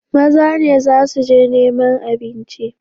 Maza ne za su je neman abinci.